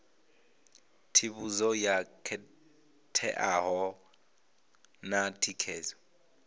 tsivhudzo yo khetheaho na thikedzo